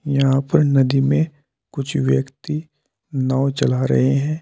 यहां पर नदी में कुछ व्यक्ति नाव चला रहे हैं।